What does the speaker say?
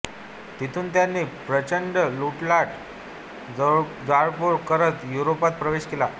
तिथून त्यांनी प्रचंड लुटालूट जाळपोळ करत युरोपात प्रवेश केला